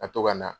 Ka to ka na